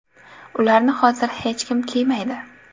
Ularni hozir hech kim kiymaydi.